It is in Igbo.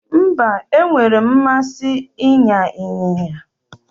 Mba, enwere m mmasi ịnya ịnyịnya